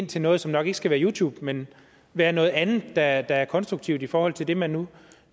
til noget som nok ikke skal være youtube men være noget andet der er der er konstruktivt i forhold til det man nu